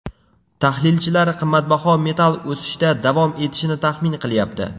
Tahlilchilar qimmatbaho metall o‘sishda davom etishini taxmin qilyapti.